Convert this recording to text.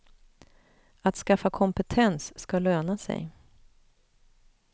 Att skaffa kompetens ska löna sig.